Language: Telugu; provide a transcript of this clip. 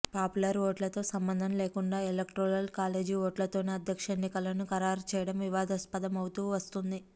పాపులర్ ఓట్లతో సంబంధం లేకుండా ఎలక్టోరల్ కాలేజీ ఓట్లతోనే అధ్యక్ష ఎన్నికలను ఖరారు చేయడం వివాదాస్పదం అవుతూ వస్తోంది